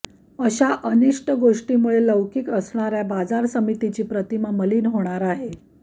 अशा अनिष्ट गोष्टीमुळे लौकिक असणाऱ्या बाजार समितीची प्रतिमा मलीन होणार आहे